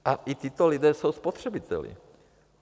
A i tito lidé jsou spotřebiteli.